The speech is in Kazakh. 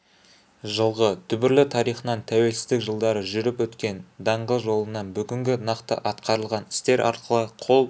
жылғы дүбірлі тарихынан тәуелсіздік жылдары жүріп өткен даңғыл жолынан бүгінгі нақты атқарылған істер арқылы қол